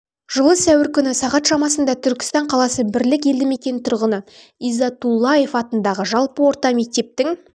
жылы сәуір күні сағат шамасында түркістан қаласы бірлік елді мекенінің тұрғыны иззатуллаев атындағы жалпы орта мектептің